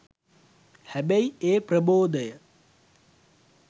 හැබැයි ඒ ප්‍රබෝදය